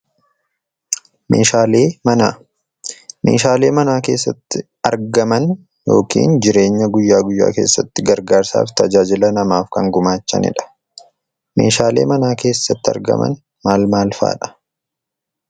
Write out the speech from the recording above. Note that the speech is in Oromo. Meeshaalee Manaa. Meeshaalee manaa keessatti argaman yookaan jireenya guyyaa guyyaa keessatti gargaarsaaf tajaajila namaaf kan gumaachanidha. Meeshaaleen mana keessatti argaman maal maal fa'adha?